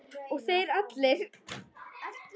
Og þeir allir!